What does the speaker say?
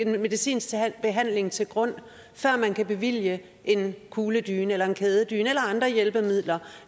medicinsk behandling til grund før man kan bevilge en kugledyne eller en kædedyne eller andre hjælpemidler